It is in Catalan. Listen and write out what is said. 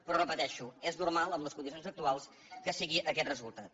però ho repeteixo és normal en les condicions actuals que sigui aquest resultat